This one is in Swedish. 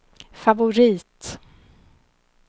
favorit